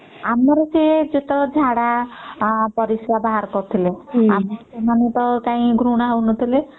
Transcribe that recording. ଆମର ସେ ଯେତକ ଝାଡା ପରିଶ୍ରା ବାହାର କରୁଥିଲେ ତ ସେମାନେ କାଇଁ ଘୃଣା ହଉ ନଥିଲେ ହୁଁ ହୁଁ